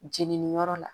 Jeniniyɔrɔ la